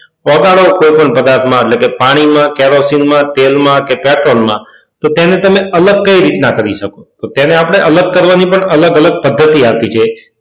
ઓગાળો કોઈપણ પદાર્થમાં એટલે કે પાણીમાં કેરોસીનમાં તેલમાં કે પેટ્રોલમાં કે પછી કોઈ પણ પદાર્થમાં તો તેને અલગ કઈ રીતના કરી શકાય તો આપણે તેને અલગ કરવા માટેની અલગ અલગ પદ્ધતિ આપેલી છે.